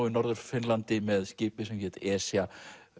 í Norður Finnlandi með skipi sem hét Esja